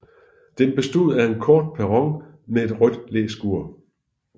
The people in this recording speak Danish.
Den bestod af en kort perron med et rødt læskur